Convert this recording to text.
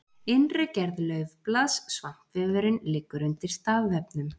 innri gerð laufblaðs svampvefurinn liggur undir stafvefnum